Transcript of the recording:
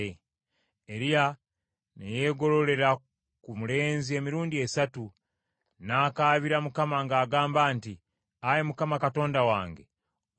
Mukama n’awulira okukaaba kwa Eriya, obulamu bw’omulenzi ne bumuddamu, era n’alama.